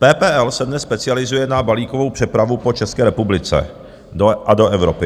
PPL se dnes specializuje na balíkovou přepravu po České republice a do Evropy.